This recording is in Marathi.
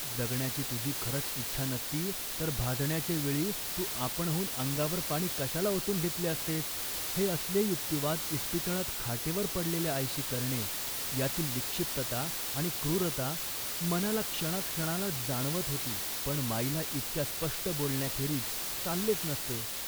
जगण्याची तुझी खरंच इच्छा नसती तर भाजण्याच्या वेळी तू आपणहून अंगावर पाणी कशाला ओतून घेतले असतेस. " हे असले युक्तिवाद इस्पितळात खाटेवर पडलेल्या आईशी करणे यातली विक्षिप्तता आणि क्रूरता मला क्षणाक्षणाला जाणवत होती, पण माईला इतक्या स्पष्ट बोलण्याखेरीज चाललेच नसते